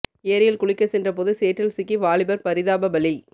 ஏரியில் குளிக்க சென்ற போது சேற்றில் சிக்கி வாலிபர் பரிதாப பலி